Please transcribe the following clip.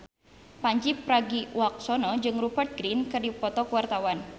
Pandji Pragiwaksono jeung Rupert Grin keur dipoto ku wartawan